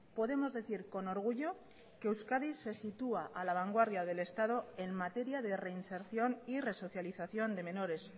podemos decir con orgullo que euskadi se sitúa a la vanguardia del estado en materia de reinserción y resocialización de menores